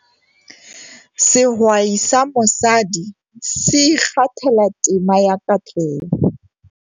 Sehwai sa mosadi se ikgathela tema ya katleho.